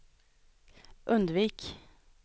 undvik